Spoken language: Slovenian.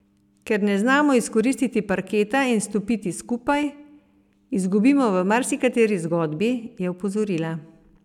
Ker ne znamo izkoristiti parketa in stopiti skupaj, izgubimo v marsikateri zgodbi, je opozorila.